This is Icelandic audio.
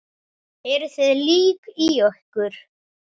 Eruð þið lík í ykkur?